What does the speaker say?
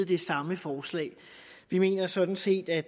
det samme forslag vi mener sådan set at